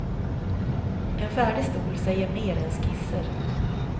En färdig stol säger mer än skisser.